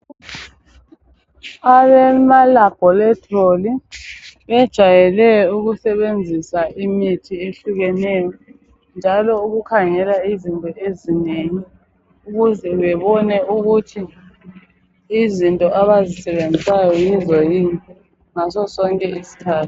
Abamalabholitholi bejayele ukusebenzisa imithi ehlukeneyo njalo ukukhangela izinto ezinengi ukuze bebone ukuthi izinto abazisebenzisayo yizo yini ngaso sonke isikhathi